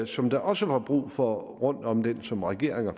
som der også var brug for rundt om den som regeringer